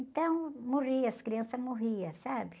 Então, morria, as crianças morriam, sabe?